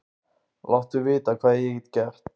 Láttu vita hvað ég get gert.